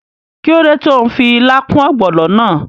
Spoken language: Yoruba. Kíló dé tó n fi ilá kún ògbònò náà?